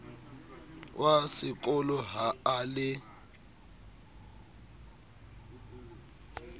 wa sekolo ha a le